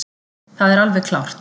Það er alveg klárt